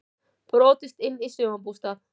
Brotist inn í sumarbústað